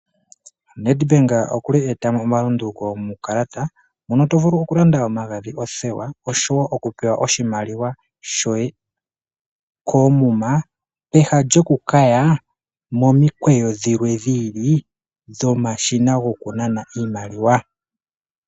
NED BANK okuli eeta mo omalunduluko muukalata mono to vulu oku landa omagadhi, othewa oshowo oshimaliwa shoye koomuma pehala lyoku kaya momikweyo dhilwe dhi ili dhomashina goku nana iimaliwa.